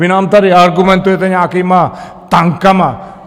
Vy nám tady argumentujete nějakými tanky.